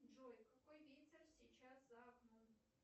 джой какой ветер сейчас за окном